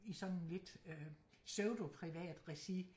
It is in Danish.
I sådan lidt øh pseudo-privat regi